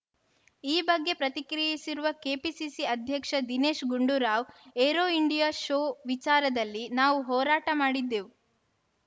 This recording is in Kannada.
ಈ ಬಗ್ಗೆ ಪ್ರತಿಕ್ರಿಯಿಸಿರುವ ಕೆಪಿಸಿಸಿ ಅಧ್ಯಕ್ಷ Dinesh Gundu Rao aero India show ವಿಚಾರದಲ್ಲಿ ನಾವು ಹೋರಾಟ ಮಾಡಿದ್ದೆವು